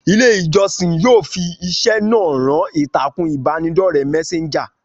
Ilé ìjọsìn yóò fi iṣẹ́ náà rán ìtàkùn ìbánidọ́rẹ́ mẹ́séńjà